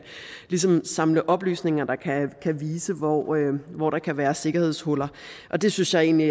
samles oplysninger der kan vise hvor hvor der kan være sikkerhedshuller det synes jeg egentlig